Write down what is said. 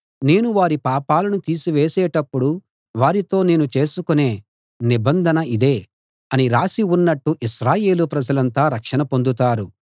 నేను వారి పాపాలను తీసివేసేటప్పుడు వారితో నేను చేసుకొనే నిబంధన ఇదే అని రాసి ఉన్నట్టు ఇశ్రాయేలు ప్రజలంతా రక్షణ పొందుతారు